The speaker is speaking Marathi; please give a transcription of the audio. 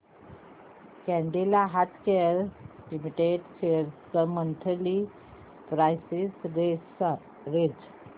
कॅडीला हेल्थकेयर लिमिटेड शेअर्स ची मंथली प्राइस रेंज